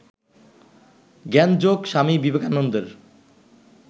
জ্ঞানযোগ স্বামী বিবেকানন্দের